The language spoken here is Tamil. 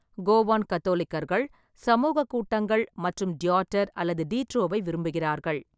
கோவான் கத்தோலிக்கர்கள் சமூகக் கூட்டங்கள் மற்றும் டியாட்டர் அல்லது டீட்ரோவை விரும்புகிறார்கள்.